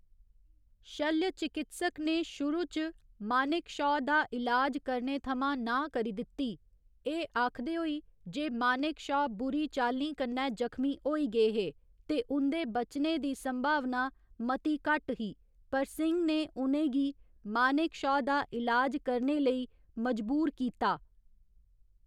शल्य चिकित्सक ने शुरू च मानेकशॅा दा इलाज करने थमां नांह् करी दित्ती, एह् आखदे होई जे मानेकशॅा बुरी चाल्लीं कन्नै जखमी होई गे हे ते उं'दे बचने दी संभावना मती घट्ट ही, पर सिंह ने उ'नें गी मानेकशॅा दा इलाज करने लेई मजबूर कीता।